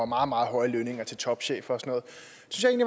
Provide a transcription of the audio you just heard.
meget meget høje lønninger til topchefer